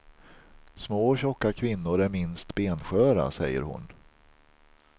Små och tjocka kvinnor är minst bensköra, säger hon.